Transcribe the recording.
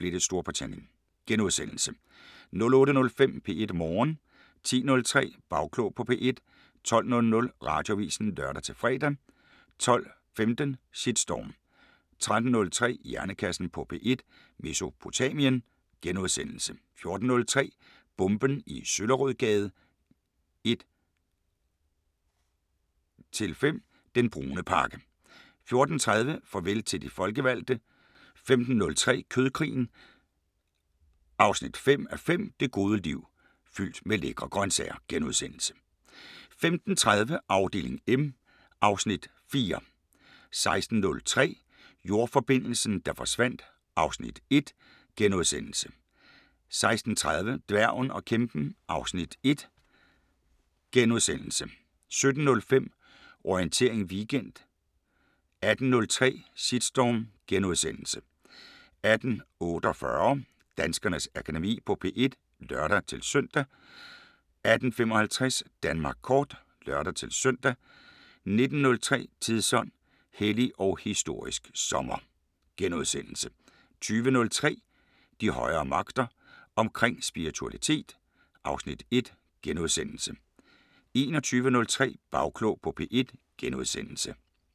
15:30: Afdeling M (Afs. 4) 16:03: Jordforbindelsen, der forsvandt (Afs. 1)* 16:30: Dværgen og kæmpen (Afs. 1)* 17:05: Orientering Weekend 18:03: Shitstorm * 18:48: Danskernes Akademi på P1 (lør-søn) 18:55: Danmark kort (lør-søn) 19:03: Tidsånd: Hellig og historisk sommer * 20:03: De højere magter: Omkring spiritualitet (Afs. 1)* 21:03: Bagklog på P1 *